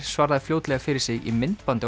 svaraði fljótlega fyrir sig í myndbandi